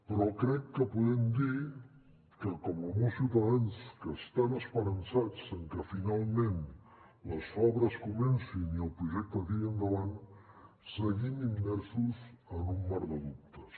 però crec que podem dir que com molts ciutadans que estan esperançats en que finalment les obres comencin i el projecte tiri endavant seguim immersos en un mar de dubtes